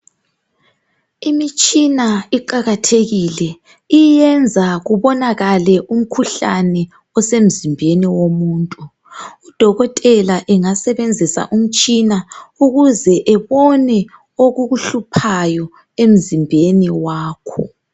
Imitshina iqakathekile iyenza kubonakale umkhuhlane osemzimbeni womuntu . Udokotela engasebenzisa umtshina ukuze ebone okukuhluphayo emzimbeni wakho.